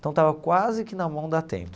Então estava quase que na mão da Atento.